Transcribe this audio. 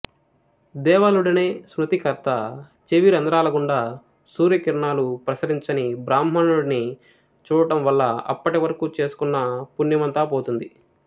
దేవలుడనే స్మృతికర్త చెవిరంధ్రాలగుండా సూర్యకిరణాలు ప్రసరించని బ్రాహ్మణుడిని చూడడం వల్ల అప్పటివరకు చేసుకున్న పుణ్యమంతా పోతుంది